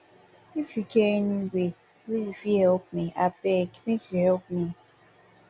if you get any way wey you fit help abeg make you help me